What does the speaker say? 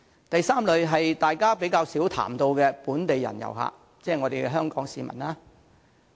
第三類是大家較少談及的本地人遊客，即香港市民。